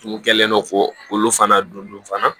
N kɛlen don kolo fana dondon fana